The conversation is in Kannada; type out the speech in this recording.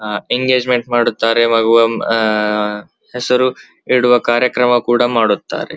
ಅಹ್ ಎಂಗೇಜ್ಮೆಂಟ್ ಮಾಡುತ್ತಾರೆ ಹೆಸರು ಇಡುವ ಕಾರ್ಯಕ್ರಮವನ್ನು ಮಾಡುತ್ತಾರೆ.